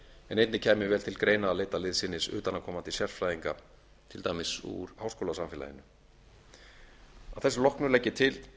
en einnig kæmi vel til greina að leita liðsinnis utanaðkomandi sérfræðinga til dæmis úr háskólasamfélaginu að þessu loknu legg ég til